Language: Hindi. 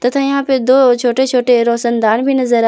तो यहां पे दो छोटे छोटे रोशनदान भी नजर आ--